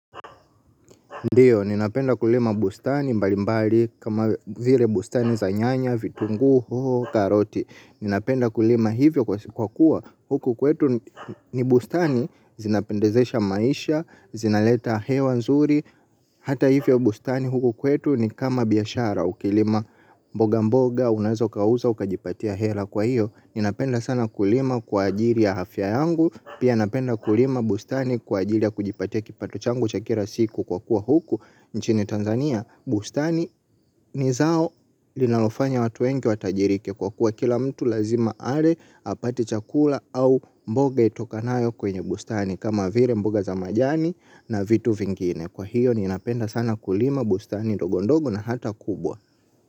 Ndiyo, ninapenda kulima bustani mbali mbali kama vile bustani za nyanya, vitunguu, hoho, karoti. Ninapenda kulima hivyo kwa kuwa huku kwetu ni bustani, zinapendezesha maisha, zinaleta hewa nzuri. Hata hivyo bustani huku kwetu ni kama biashara, ukilima mboga mboga, unaweza ukauza, ukajipatia hela kwa hiyo. Ninapenda sana kulima kwa ajiri ya afya yangu. Pia napenda kulima bustani kwa ajili ya kujipatia kipato changu cha kila siku kwa kuwa huku nchini Tanzania Bustani ni zao linalofanya watu wengi watajirike kwa kuwa kila mtu lazima ale apate chakula au mboga itokanayo kwenye bustani. Kama vile mboga za majani na vitu vingine kwa hiyo ninapenda sana kulima bustani ndogo ndogo na hata kubwa.